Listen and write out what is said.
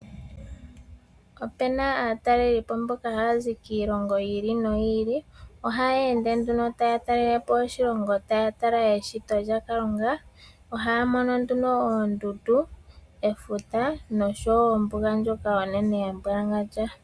Ope na aatalelipo mboka haya zi kiilongo yi ili noyi ili. Ohayeende nduno taya talele po iilongo taya tala eshito lyaKalunga, ohaya mono nduno oondundu, efuta, nosho wo ombuga ndjoka onene ya mbwalangandja.